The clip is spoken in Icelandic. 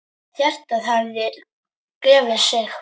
Hjartað hafði gefið sig.